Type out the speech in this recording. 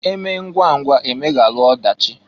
Emee ngwa ngwa emeghalụ ọdachị.